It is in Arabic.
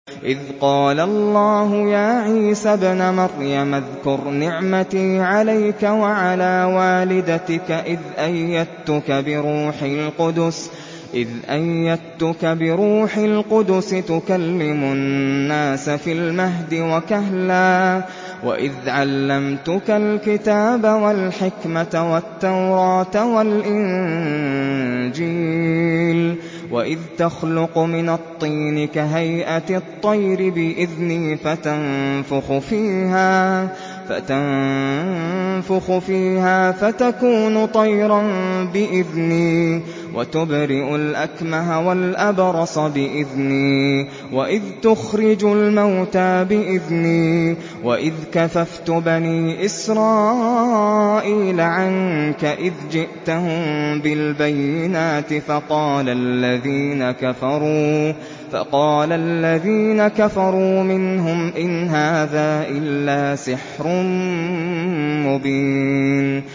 إِذْ قَالَ اللَّهُ يَا عِيسَى ابْنَ مَرْيَمَ اذْكُرْ نِعْمَتِي عَلَيْكَ وَعَلَىٰ وَالِدَتِكَ إِذْ أَيَّدتُّكَ بِرُوحِ الْقُدُسِ تُكَلِّمُ النَّاسَ فِي الْمَهْدِ وَكَهْلًا ۖ وَإِذْ عَلَّمْتُكَ الْكِتَابَ وَالْحِكْمَةَ وَالتَّوْرَاةَ وَالْإِنجِيلَ ۖ وَإِذْ تَخْلُقُ مِنَ الطِّينِ كَهَيْئَةِ الطَّيْرِ بِإِذْنِي فَتَنفُخُ فِيهَا فَتَكُونُ طَيْرًا بِإِذْنِي ۖ وَتُبْرِئُ الْأَكْمَهَ وَالْأَبْرَصَ بِإِذْنِي ۖ وَإِذْ تُخْرِجُ الْمَوْتَىٰ بِإِذْنِي ۖ وَإِذْ كَفَفْتُ بَنِي إِسْرَائِيلَ عَنكَ إِذْ جِئْتَهُم بِالْبَيِّنَاتِ فَقَالَ الَّذِينَ كَفَرُوا مِنْهُمْ إِنْ هَٰذَا إِلَّا سِحْرٌ مُّبِينٌ